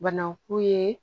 Banaku ye